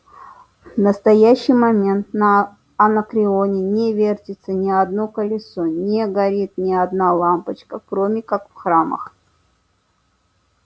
в настоящий момент на анакреоне не вертится ни одно колесо не горит ни одна лампочка кроме как в храмах